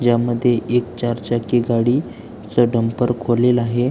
ज्यामध्ये एक चार चाकी गाडी च ढमपर खोललेल आहे.